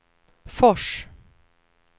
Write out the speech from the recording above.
Fors